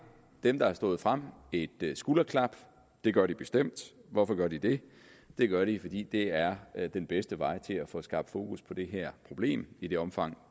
dem der er stået frem et skulderklap det gør de bestemt hvorfor gør de det det gør de fordi det er er den bedste vej til at få skabt fokus på det her problem i det omfang